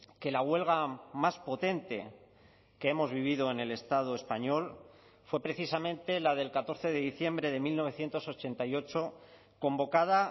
que la huelga más potente que hemos vivido en el estado español fue precisamente la del catorce de diciembre de mil novecientos ochenta y ocho convocada